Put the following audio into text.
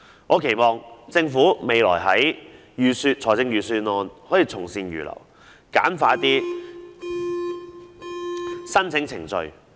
我期望政府未來的預算案能夠從善如流，簡化申請程序。